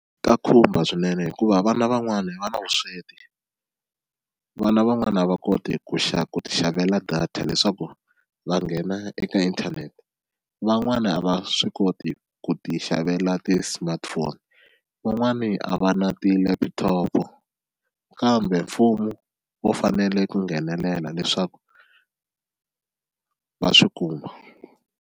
Ka khumba swinene hikuva vana van'wani va na vusweti, vana van'wana a va koti ku ku ti xavela data leswaku va nghena eka inthanete, van'wani a va swi koti ku ti xavela ti-smartphone, van'wani a va na ti-laptop kambe mfumo wu fanele ku nghenelela leswaku va swi kuma.